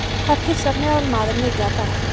Hvað pissar meðalmaðurinn mikið á dag?